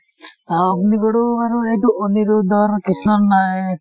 আ অগ্নিগড়ও আৰু এইটো অনিৰুদ্ধ ৰ